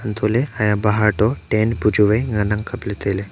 antoley haiya bahar to tent bu chu vai ngan ang kapley tailey.